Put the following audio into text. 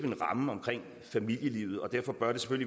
i de